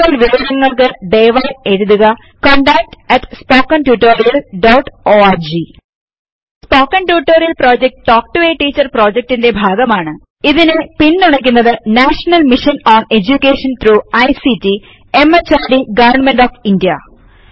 കൂടുതൽ വിവരങ്ങൾക്ക് ദയവായി എഴുതുക contactspoken tutorialorg സ്പോക്കണ് ട്യൂട്ടോറിയലൽ project talk to a teacher പ്രോജക്ടിന്റെ ഭാഗമാണ് ഇതിനെ പിൻ തുണക്കുന്നത് national mission on education through ICT MHRD government of India